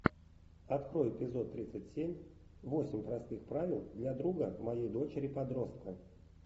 открой эпизод тридцать семь восемь простых правил для друга моей дочери подростка